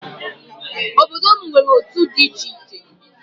Obodo m nwere otu a na-aba di icheiche